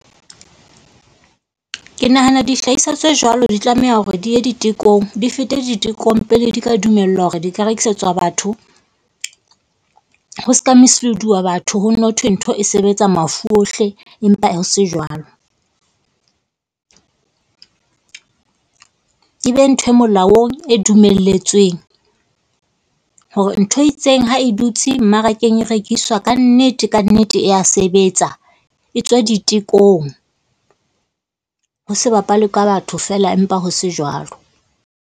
Ke nahana dihlahiswa tse jwalo di tlameha hore di ye ditekong di fete ditekong pele di ka dumellwa hore di ka rekisetswa batho. Ho se ka mislead-uwa batho. Ho nne ho thwe ntho e sebetsa mafu ohle, empa ho se jwalo. E be ntho e molaong e dumelletsweng. Hore ntho e itseng ha e dutse mmarakeng, e rekiswa kannete, kannete e a sebetsa. E tswa ditekong, ho se bapalwe ka batho feela empa ho se jwalo.